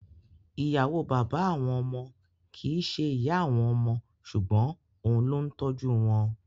Ì̀yàwó bàbá àwọn ọmọ kìí ṣe ìyá àwọn ọmọ ṣùgbọ́n òun ló ń tọ́jú wọn.